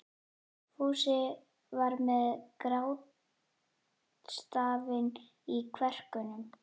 Fúsi var með grátstafinn í kverkunum.